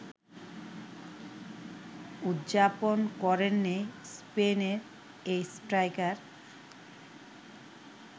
উদযাপন করেননি স্পেনের এই স্ট্রাইকার